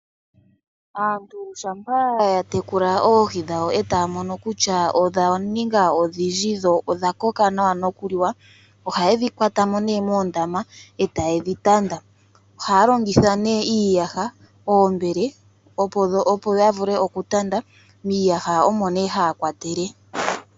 Aantu shampa ya tekula oohi dhawo e taya mono kutya odha ninga odhindji dho odha koka nawa noku liwa, ohaye dhi kwata mo nee moondama e taye dhi tanda. Ohaya longitha nee iiyaha, oombele opo ya vule oku tanda, miiyaha omo nee haya kwatele.